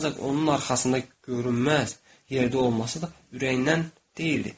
Ancaq onun arxasında görünməz yerdə olması da ürəyindən deyildi.